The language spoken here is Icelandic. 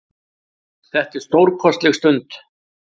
Þetta er stórkostleg stund.